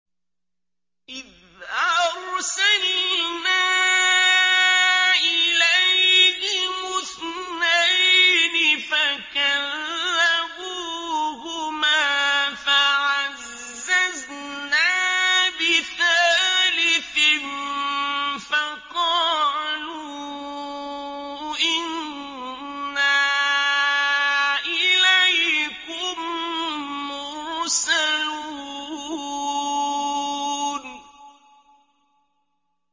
إِذْ أَرْسَلْنَا إِلَيْهِمُ اثْنَيْنِ فَكَذَّبُوهُمَا فَعَزَّزْنَا بِثَالِثٍ فَقَالُوا إِنَّا إِلَيْكُم مُّرْسَلُونَ